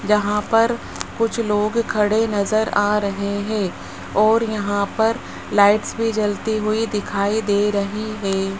जहां पर कुछ लोग खड़े नजर आ रहे हैं और यहां पर लाइट्स भी जलती हुई दिखाई दे रही हैं।